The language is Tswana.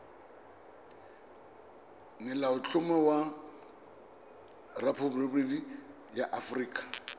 molaotlhomo wa rephaboliki ya aforika